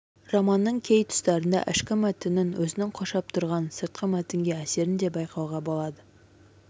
романның кей тұстарында ішкі мәтіннің өзін қоршап тұрған сыртқы мәтінге әсерін де байқауға болады